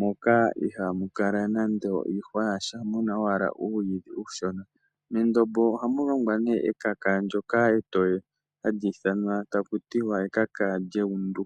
moka ihamu kala mwamena nando iihwa yasha hamu kala owala uuyidhi uushona. Mendombo ohamu longwa ekaka ndyoka etoye, hali ithanwa takutiwa ekaka lyekundu